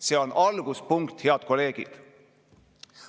See on alguspunkt, head kolleegid.